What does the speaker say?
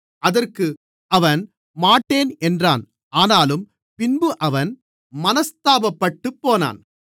அதற்கு அவன் மாட்டேன் என்றான் ஆனாலும் பின்பு அவன் மனஸ்தாபப்பட்டுப்போனான்